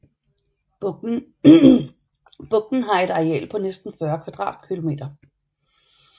Bugten har et areal på næsten 40 km2